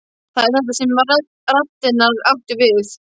Það er þetta sem raddirnar áttu við.